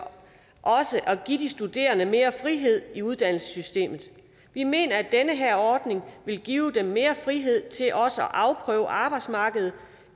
at give de studerende mere frihed i uddannelsessystemet vi mener at den her ordning vil give dem mere frihed til også at afprøve arbejdsmarkedet